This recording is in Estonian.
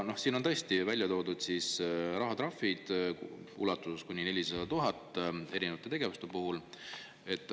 Siin on tõesti välja toodud rahatrahvid kuni 400 000 eurot erinevate tegevuste puhul.